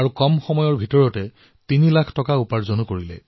সেই কেইটা দিনতেই এই মিলটোৰ জৰিয়তে তেওঁলোকে তিনি লাখ টকাও উপাৰ্জন কৰিলে